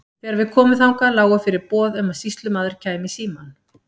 Þegar við komum þangað lágu fyrir boð um að sýslumaður kæmi í símann.